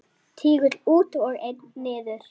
Tígull út og einn niður.